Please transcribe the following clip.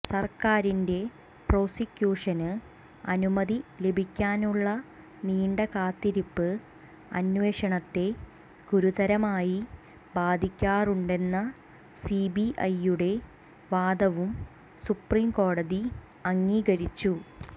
സര്ക്കാരിന്റെ പ്രോസിക്യൂഷന് അനുമതി ലഭിക്കാനുള്ള നീണ്ട കാത്തിരിപ്പ് അന്വേഷണത്തെ ഗുരുതരമായി ബാധിക്കാറുണ്ടെന്ന സിബിഐയുടെ വാദവും സുപ്രീംകോടതി അംഗീകരിച്ചു